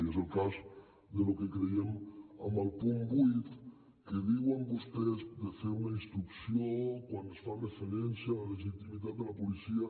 i és el cas del que creiem amb el punt vuit que diuen vostès de fer una instrucció quan es fa referència a la legitimitat de la policia